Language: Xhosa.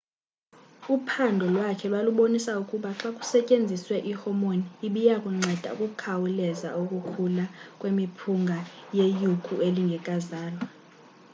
uphandyo lwakhe lwalubonisa ukuba xa kusetyenziswe i hormone ibiyakunceda ukukhawuleza ukukhula kwemiphunga yeyuku elingekazalwa